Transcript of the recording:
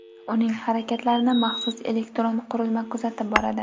Uning harakatlarini maxsus elektron qurilma kuzatib boradi.